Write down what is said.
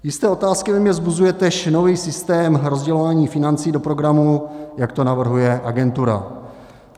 Jisté otázky ve mně vzbuzuje též nový systém rozdělování financí do programu, jak to navrhuje agentura.